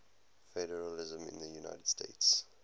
federalism in the united states